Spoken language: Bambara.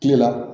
Kile la